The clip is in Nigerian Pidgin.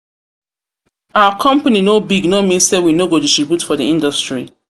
our company no big no mean say we no go distribute for di industry.